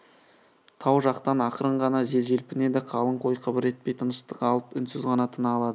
тау жақтан ақырын ғана жел желпінеді қалың қой қыбыр етпей тыныштық алып үнсіз ғана тына алады